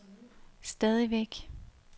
stadigvæk